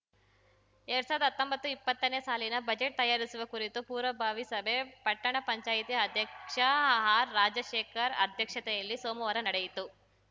ಎರ್ಡ್ ಸಾವಿರ್ದಾ ಹತ್ತೊಂಬತ್ತುಇಪ್ಪತ್ತನೇ ಸಾಲಿನ ಬಜೆಟ್‌ ತಯಾರಿಸುವ ಕುರಿತು ಪೂರ್ವ ಭಾವಿ ಸಭೆ ಪಟ್ಟಣ ಪಂಚಾಯತ್ ಅಧ್ಯಕ್ಷ ಆರ್‌ರಾಜಶೇಖರ್‌ ಅಧ್ಯಕ್ಷತೆಯಲ್ಲಿ ಸೋಮುವಾರ ನಡೆಯಿತು